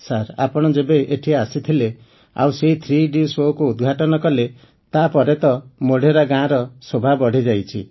sir ଆପଣ ଯେବେ ଏଠି ଆସିଥିଲେ ଆଉ ସେହି ଥ୍ରୀଡି ଶୋ କୁ ଉଦ୍ଘାଟନ କଲେ ତା ପରେ ତ ମୋଢେରା ଗାଁର ଶୋଭା ବଢ଼ିଯାଇଛି